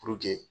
Puruke